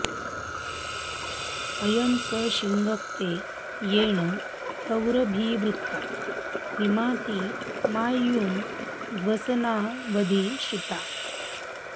अयं स शिङ्क्ते येन गौरभीवृता मिमाति मायुं ध्वसनावधि श्रिता